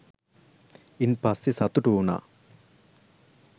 ඉන් පස්සේ සතුටු වුණා.